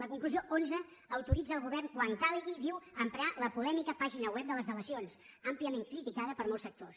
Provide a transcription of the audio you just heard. la conclusió onze autoritza el govern quan calgui diu emprar la polèmica pàgina web de les delacions àmpliament criticada per molts sectors